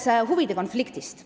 Nüüd huvide konfliktist.